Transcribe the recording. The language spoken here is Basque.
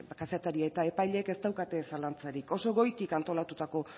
kazetaria eta epaileek ez daukate zalantzarik oso goitik antolatutako